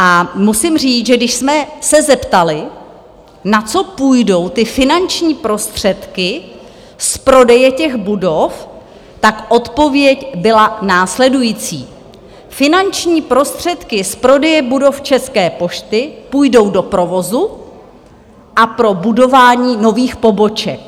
A musím říct, že když jsme se zeptali, na co půjdou ty finanční prostředky z prodeje těch budov, tak odpověď byla následující: Finanční prostředky z prodeje budov České pošty půjdou do provozu a pro budování nových poboček.